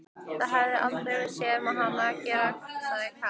Það hef ég aldrei séð hann gera sagði Karl.